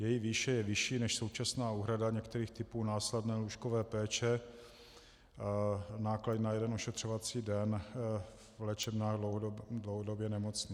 Její výše je vyšší než současná úhrada některých typů následné lůžkové péče, náklady na jeden ošetřovací den v léčebnách dlouhodobě nemocných.